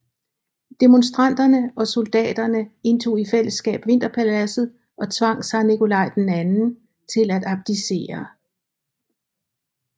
Demonstranterne og soldaterne indtog i fællesskab Vinterpaladset og tvang zar Nikolaj II til at abdicere